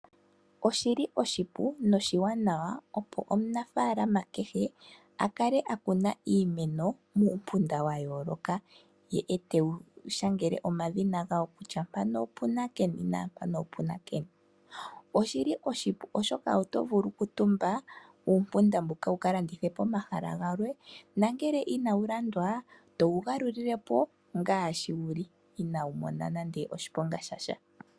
Oshili oshipu noshiwanawa opo omunafaalama kehe a kune iimeno ye moompunda wa yooloka, ye etewu shangele omadhina gawo kutya mpano opuna keni naampano opua keni. Oshili oshipu oshoka oto vulu oku tumba uumpunda mbuka wu ka landithe pomahala galwe nongele inawu landwa towu galulile po ngaashi wu li inaawu mona nande oshiponga sha sha.